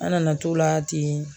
An nana t'o la ten